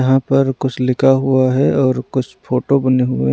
यहाँ पर कुछ लिखा हुआ है और कुछ फोटो बने हुए हैं।